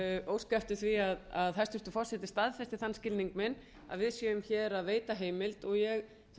óska eftir því að forseti staðfesti þann skilning minn að við séum að veita heimild og ég